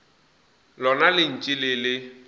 lona le ntše le le